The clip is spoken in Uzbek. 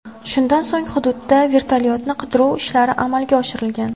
Shundan so‘ng, hududda vertolyotni qidiruv ishlari amalga oshirilgan.